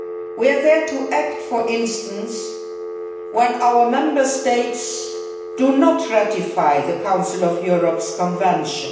We are there to act, for instance, when our Member States do not ratify the Council of Europe's Convention.